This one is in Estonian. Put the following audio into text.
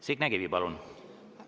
Signe Kivi, palun!